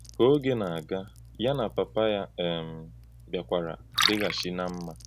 Kà ògé na-aga, yà na pàpà ya um bịakwàrà dìghàchí ná mma.